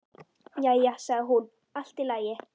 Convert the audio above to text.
Jæja sagði hún, allt í lagi.